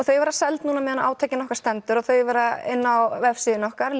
þau verða seld núna á meðan á átakinu okkar stendur og þau verða inni á vefsíðunni okkar